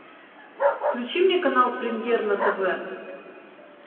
включи мне канал премьер на тв